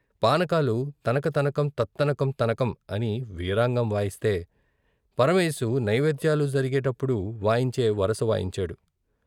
పానకాలు తనక తనకం త త్తనకం తనకం అని వీరాంగం వాయిస్తే పరమేశు నైవేద్యాలు జరిగేప్పుడు వాయించే వరస వాయించాడు.